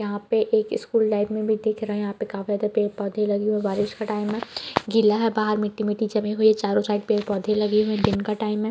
यहाँ पे एक स्कूल लाइव मे भी दिख रहा है यहाँ पे काफी ज्यादा पेड़ पौधे है लगे हुए है बारिश का टाइम है गिला है बाहर मिट्टी-मिट्टी जमी हुई है चारो साइड पेड़-पौधे लगे हुए दिन का टाइम है।